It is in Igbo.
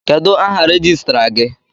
Kedụ áhà rejistra gị?